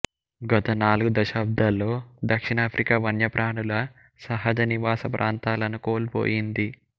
గత నాలుగు దశాబ్దాల్లో దక్షిణాఫ్రికా వన్యప్రాణుల సహజ నివాస ప్రాంతాలను కోల్పోయింది